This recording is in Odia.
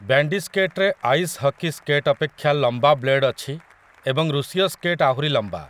ବ୍ୟାଣ୍ଡି ସ୍କେଟ୍ ରେ ଆଇସ୍ ହକି ସ୍କେଟ୍ ଅପେକ୍ଷା ଲମ୍ବା ବ୍ଲେଡ୍ ଅଛି ଏବଂ 'ରୁଷୀୟ ସ୍କେଟ୍' ଆହୁରି ଲମ୍ବା ।